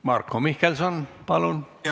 Marko Mihkelson, palun!